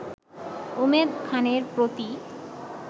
উমেদ খানের প্রতি